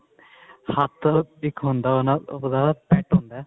ਹੱਥ ਇੱਕ ਹੁੰਦਾ ਉਹਦਾ pet ਹੁੰਦਾ